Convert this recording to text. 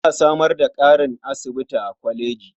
Za a samar da ƙarin magani a asibitin kolejin.